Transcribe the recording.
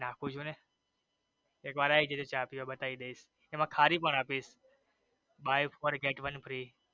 નાખું છું ને એકવાર આવી જજો ચા પીવા બતાવી દયસ એમાં ખારી પણ આપીશ buy for get one free